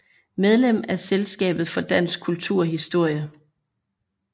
Medlem af Selskabet for Dansk Kulturhistorie